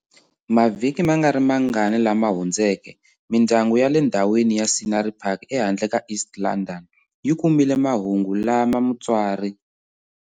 Mavhiki mangarimangani lama hundzeke mindyangu ya le ndhawini ya Scenery Park ehandle ka East London, yi kumile mahungu lama mutswari.